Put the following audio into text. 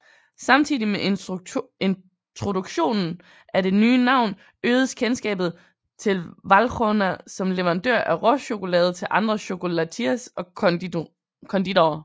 Samtidig med introduktionen af det nye navn øgedes kendskabet til Valrhona som leverandør af råchokolade til andre chocolatiers og konditorer